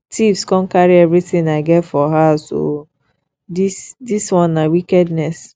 thieves come carry everything i get for house oo this this one na wickedness